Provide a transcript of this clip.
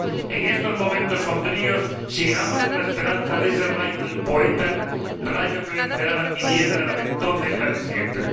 En estos momentos sombríos, sigamos en la esperanza de ese rayo del poeta, rayo que vencerá la tiniebla, la de entonces y la de siempre.